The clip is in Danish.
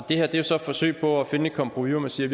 det her er jo så et forsøg på at finde et kompromis hvor man siger